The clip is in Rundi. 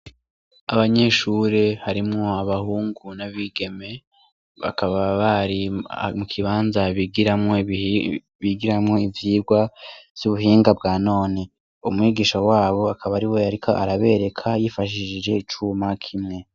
Abanyeshure harimwo abahungu n’abigeme ,bakaba bari mu kibanza bigiramwo , bigiramwo ivyigwa vy'ubuhinga bwa none, umwigisha wabo akaba ariwe ariko arabereka yifashishije icuma kimwe.